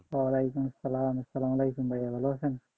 অলাইকুম আসসালাম, আসসালামুয়ালাইকুম বড় ভাই ভালো আছেন?